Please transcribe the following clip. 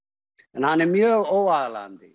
en hann er mjög óaðlaðandi